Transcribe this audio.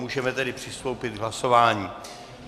Můžeme tedy přistoupit k hlasování.